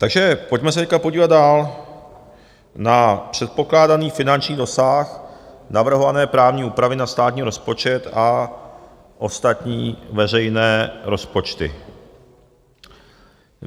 Takže pojďme se teď podívat dál na předpokládaný finanční dosah navrhované právní úpravy na státní rozpočet a ostatní veřejné rozpočty.